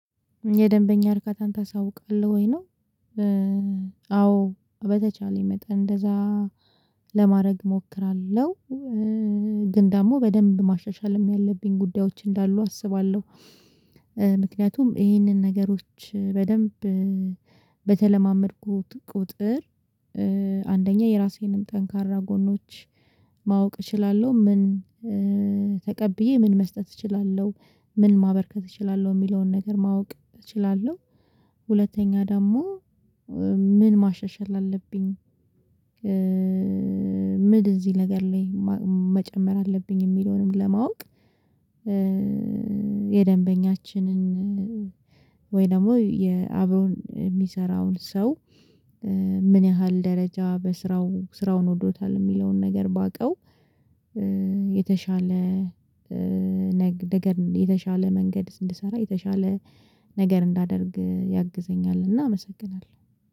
የደንበኛ እርካታን ታሳውቃለህ ወይ ነው? አዎ በተቻለኝ መጠን እንደዛ ለማድረግ እሞክራለሁ ግን ደግሞ በደንብ ማሻሻልም ያለብኝ ጉዳዮች እንዳሉ አስባለሁ። ምክንያቱም ይህንን ነገሮች በደንብ በተለማመድኩት ቁጥር አንደኛ የራሴንም ጠንካራ ጎኖች ማወቅ እችላለሁ ምን ተቀብዬ ምን መስጠት እችላለሁ ምን ማበርከት እችላለሁ የሚለውን ነገር ማወቅ እችላለሁ። ሁለተኛ ደግሞ ምን ማሻሻል አለብኝ? ምን እዚህ ነገር ላይ መጨመር አለብኝ የሚለውንም ለማወቅ። የደንበኛችንን ወይ ደግሞ የአብሮን የሚሰራውን ሰው ምን ያህል ደረጃ በስራው ስራውን ወዶታል የሚለውን ነገር ባውቀው? የተሻለ ነገር የተሻለ መንገድ እንድሰራ የተሻለ ነገር እንዳደርግ ያግዘኛልና አመሰግናለሁ